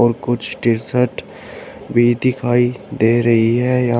और कुछ टिशर्ट भी दिखाई दे रही है यहां--